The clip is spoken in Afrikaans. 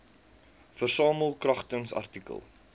versamel kragtens artikel